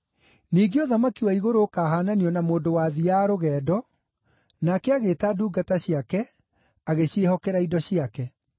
“Ningĩ, ũthamaki wa igũrũ ũkaahaananio na mũndũ wathiiaga rũgendo, nake agĩĩta ndungata ciake, agĩciĩhokera indo ciake.